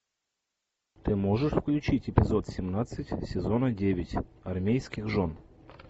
ты можешь включить эпизод семнадцать сезона девять армейских жен